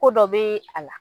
Ko dɔ be a la